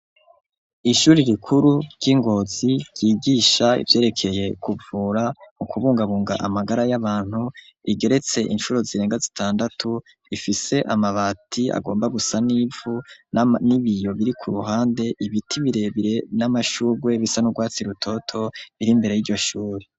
Ishure rikuru ry'i Ngozi ryigisha ivyerekeye kuvura mu kubungabunga amagara y'abantu rigeretse incuro zirenga zitandatu rifise amabati agomba gusa n'ivu n'ibiyo biri ku ruhande, ibiti birebire n'amashurwe bisa n'urwatsi rutoto biri mbere y'iryo shure.